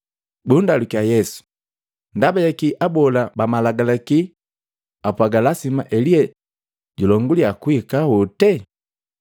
Bundalukya Yesu, “Ndaba jakii abola ba malagalaki apwaaga, lasima Elia julongulya kuhika hote?”